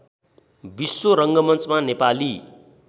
विश्व रङ्गमञ्चमा नेपाली